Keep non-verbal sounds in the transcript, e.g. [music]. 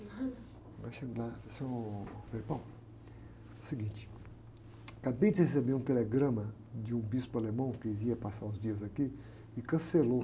Aí eu chego lá, ele fala assim, ôh, frei, [unintelligible] é o seguinte, acabei de receber um telegrama de um bispo alemão que ia passar os dias aqui e cancelou.